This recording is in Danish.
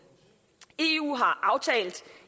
eu har aftalt